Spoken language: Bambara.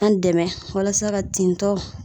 An dɛmɛ walasa ka tin tɔ